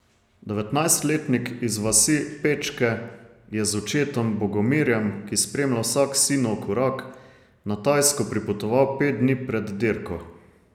Devetnajstletnik iz vasi Pečke je z očetom Bogomirjem, ki spremlja vsak sinov korak, na Tajsko pripotoval pet dni pred dirko.